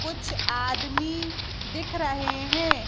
कुछ आदमी दिख रहे हैं।